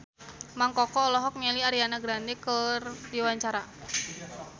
Mang Koko olohok ningali Ariana Grande keur diwawancara